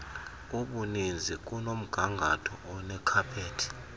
obuninzi kunomgangatho onekhaphethi